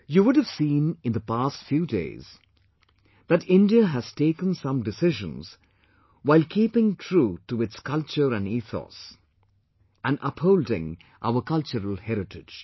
You would have seen in the past few days, that India has taken some decisions while keeping true to its culture and ethos and upholding our cultural heritage